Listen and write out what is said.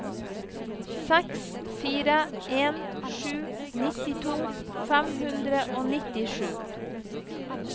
seks fire en sju nittito fem hundre og nittisju